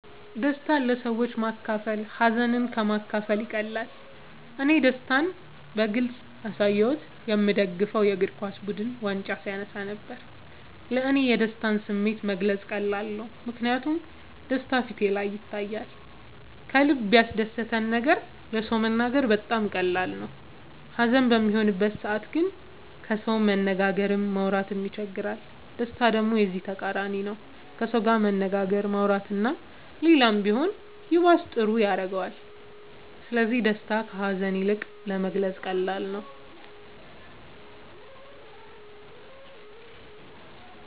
ደስታን ለሰዎች ማካፈል ሀዘንን ከ ማካፈል ይቀላል እኔ ደስታን በግልፅ ያሳየሁት የ ምደግፈው የ እግርኳስ ቡድን ዋንጫ ሲያነሳ ነበር። ለ እኔ የደስታን ስሜት መግለፅ ቀላል ነው ምክንያቱም ደስታ በ ፊቴ ላይ ይታያል ከልበ ያስደሰተን ነገር ለ ሰው መናገር በጣም ቀላል ነው ሀዘን በሚሆንበት ሰዓት ግን ከሰው መነጋገርም ማውራት ይቸግራል ደስታ ደሞ የዚ ተቃራኒ ነው ከሰው መነጋገር ማውራት እና ሌላም ቢሆን ይባስ ጥሩ ያረገዋል ስለዚ ደስታ ከ ሀዛን ይልቅ ለመግለፃ ቀላል ነው።